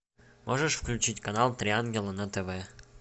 можешь включить канал три ангела на тв